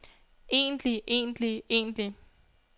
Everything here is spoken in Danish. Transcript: egentlig egentlig egentlig